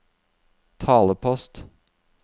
talepost